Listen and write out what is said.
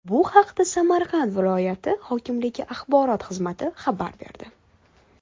Bu haqda Samarqand viloyati hokimligi axborot xizmati xabar berdi .